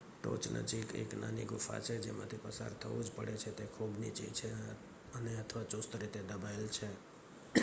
ટોચ નજીક એક નાની ગુફા છે જેમાંથી પસાર થવુંજ પડે છે તે ખૂબ નીચી છે અને અથવા ચુસ્ત રીતે દબાવેલ છે